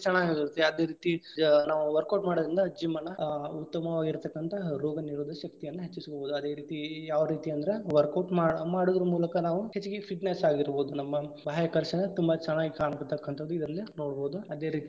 ಚೆನ್ನಾಗಾಗಿರುತ್ತೆ ಅದೇ ರೀತಿ ಜ~ ನಾವು workout ಮಾಡುದರಿಂದ gym ಅನ್ನ ಆ ಉತ್ತಮವಾಗಿರತಕ್ಕಂತಹ ರೋಗನಿರೋಧಕ ಶಕ್ತಿಯನ್ನ ಹೆಚ್ಚಿಸಕೋಬಹುದು. ಅದೇ ರೀತಿ ಯಾವ ರೀತಿ ಅಂದ್ರ workout ಮಾಡ~ ಮಾಡೋದರ ಮೂಲಕ ನಾವು ಹೆಚ್ಚಿಗಿ fitness ಆಗಿರಬೋದು. ನಮ್ಮ ಬಾಹ್ಯಾಕರ್ಷ ತುಂಬಾ ಚೆನ್ನಾಗಿ ಕಾಣತಕಂಥ್ಥದ್ದು ಇದರಲ್ಲಿ ನೋಡಬಹುದು, ಅದೇ ರೀತಿ.